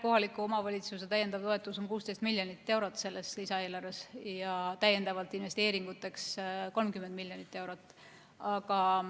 Kohaliku omavalitsuse täiendav toetus on 16 miljonit eurot selles lisaeelarves ja täiendavateks investeeringuteks on 30 miljonit eurot.